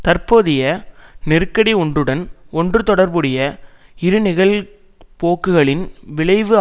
தற்போதைய நெருக்கடி ஒன்றுடன் ஒன்றுதொடர்புடைய இருநிகழ்போக்குகளின் விளைவு